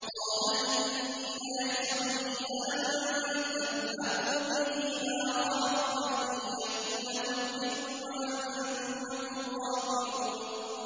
قَالَ إِنِّي لَيَحْزُنُنِي أَن تَذْهَبُوا بِهِ وَأَخَافُ أَن يَأْكُلَهُ الذِّئْبُ وَأَنتُمْ عَنْهُ غَافِلُونَ